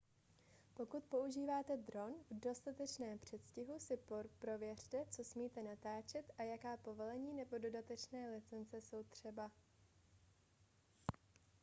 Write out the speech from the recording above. pokud používáte dron v dostatečném předstihu si prověřte co smíte natáčet a jaká povolení nebo dodatečné licence jsou třeba